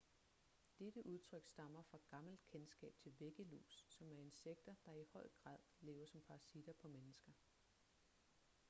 dette udtryk stammer fra gammelt kendskab til væggelus som er insekter der i høj grad lever som parasitter på mennesker